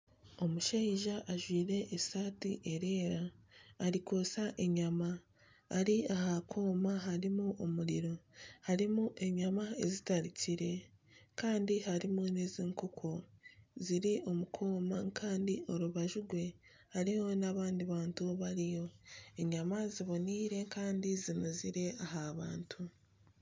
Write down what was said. Omushaija ajwire esaati erikwera arikwotsya enyama, ari aha kooma harimu omuriro , harimu enyama ezitarikire kandi harimu n'ez'enkoko ziri omu kooma kandi orubaju rwe hariho n'abandi bantu, enyama zinuuzire kandi ziboniire aha bantu